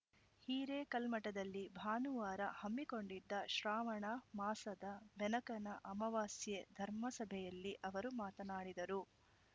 ಹಿರೇಕಲ್ಮಠದಲ್ಲಿ ಭಾನುವಾರ ಹಮ್ಮಿಕೊಂಡಿದ್ದ ಶ್ರಾವಣ ಮಾಸದ ಬೆನಕನ ಅಮಾವಾಸ್ಯೆ ಧರ್ಮಸಭೆಯಲ್ಲಿ ಅವರು ಮಾತನಾಡಿದರು